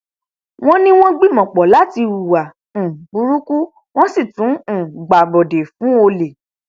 wọn ní wọn gbìmọpọ láti hùwà um burúkú wọn sì tún um gbàbọdè fún olè